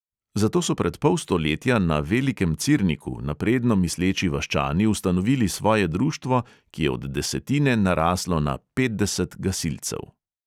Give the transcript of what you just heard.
Zato so pred pol stoletja na velikem cirniku napredno misleči vaščani ustanovili svoje društvo, ki je od desetine naraslo na petdeset gasilcev.